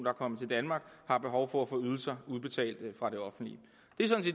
er kommet til danmark har behov for at få ydelser udbetalt fra det offentlige